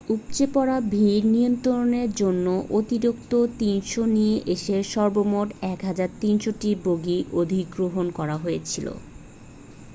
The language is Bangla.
উপচে পড়া ভিড় নিয়ন্ত্রনের জন্য অতিরিক্ত 300 নিয়ে এসে সর্বমোট 1,300 টি বগি অধিগ্রহণ করা হয়েছিল